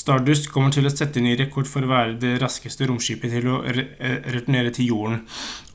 stardust kommer til å sette ny rekord for å være det raskeste romskipet til å returnere til jorden